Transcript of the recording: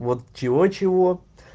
вот чего-чего